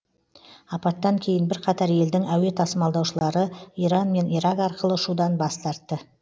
апаттан кейін бірқатар елдің әуе тасымалдаушылары иран мен ирак арқылы ұшудан бас тартты